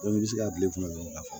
i bɛ se ka bil'i kunna dɔrɔn ka fɔ